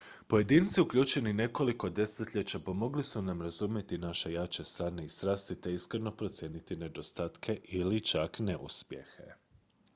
pojedinci uključeni nekoliko desetljeća pomogli su nam razumjeti naše jače strane i strasti te iskreno procijeniti nedostatke ili čak neuspjehe